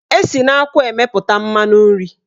Esi na akwụ emepụta mmanụ nri.